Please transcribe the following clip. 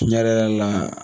Tiɲɛ yɛrɛ yɛrɛ la.